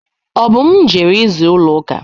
Obum jere ịza ụlọ uka.